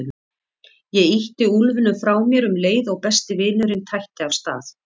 Ég ýtti úlfinum frá mér um leið og besti vinurinn tætti af stað.